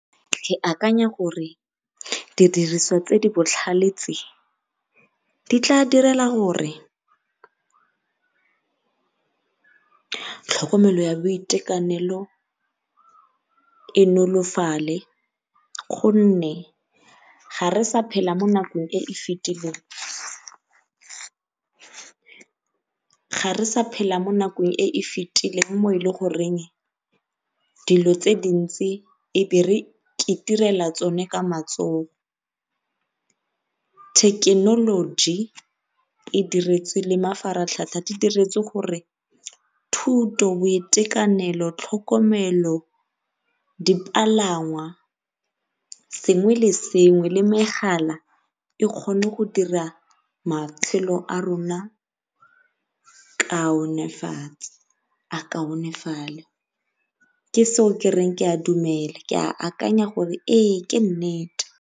Ke akanya gore di diriswa tse di botlhale tse di tla direla tlhokomelo ya boitekanelo e nolofale go nne ga re sa phela mo nakong e e fetileng, ga re sa phela mo nakong e e fetileng mo e le goreng dilo tse dintsi be re tsone ka matsogo. Thekenoloji e diretswe le mafaratlhatlha di diretswe gore thuto, boitekanelo, tlhokomelo, dipalangwa, sengwe le sengwe le megala e kgone go dira matshelo a rona kaonefatso a kaonefale ke sone seo ke reng ke a dumela ke a akanya gore ee ke nnete.